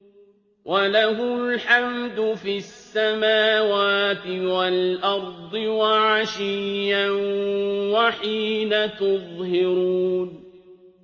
وَلَهُ الْحَمْدُ فِي السَّمَاوَاتِ وَالْأَرْضِ وَعَشِيًّا وَحِينَ تُظْهِرُونَ